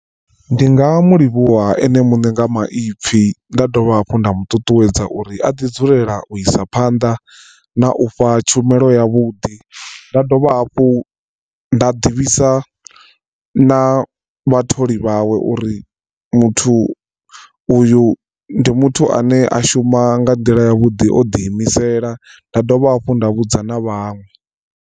Ndi nga mu livhuwa ene muṋe nga maipfi nda dovha hafhu nda mu ṱuṱuwedza uri a ḓi dzulela u isa phanḓa na u fha tshumelo ya vhuḓi nda dovha hafhu nda ḓivhisa na vhatholi vhawe uri muthu uyu ndi muthu ane a shuma nga nḓila ya vhuḓi o ḓi imisela nda dovha hafhu nda vhudza na vhaṅwe.